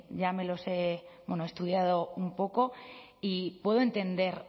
ya me los he estudiado un poco y puedo entender